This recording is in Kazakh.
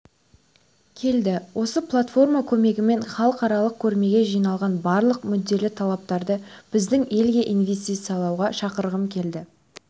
келді осы платформа көмегімен халықаралық көрмеге жиналған барлық мүдделі тараптарды біздің елге ивестициялауға шақырғым келеді